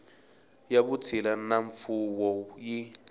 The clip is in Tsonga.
ya vutshila na mfuwo yi